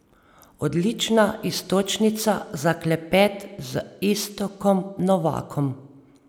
Odlična iztočnica za klepet z Iztokom Novakom.